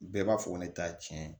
Bɛɛ b'a fɔ ko ne t'a tiɲɛ